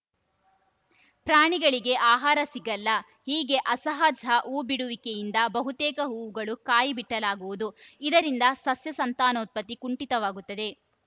ಪ್ರಾಣಿಗಳಿಗೆ ಆಹಾರ ಸಿಗಲ್ಲ ಹೀಗೆ ಅಸಹಜ ಹೂಬಿಡುವಿಕೆಯಿಂದ ಬಹುತೇಕ ಹೂವುಗಳು ಕಾಯಿ ಬಿಟ್ಟಲಾಗವುದು ಇದರಿಂದ ಸಸ್ಯ ಸಂತಾನೋತ್ಪತ್ತಿ ಕುಂಠಿತವಾಗುತ್ತದೆ